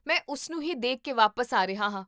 ਮੈਂ ਉਸਨੂੰ ਹੀ ਦੇਖ ਕੇ ਵਾਪਸ ਆ ਰਿਹਾ ਹਾਂ